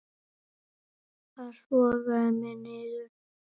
Það sogaði mig niður.